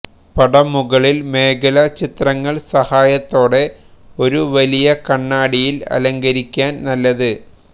പടം മുകളിൽ മേഖല ചിത്രങ്ങൾ സഹായത്തോടെ ഒരു വലിയ കണ്ണാടിയിൽ അലങ്കരിക്കാൻ നല്ലത്